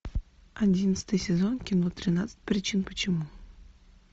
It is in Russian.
одиннадцатый сезон кино тринадцать причин почему